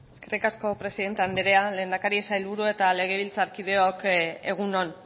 eskerrik asko presidente andrea lehendakari sailburuok eta legebiltzarkideok egunon